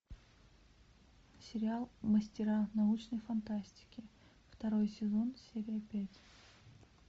сериал мастера научной фантастики второй сезон серия пять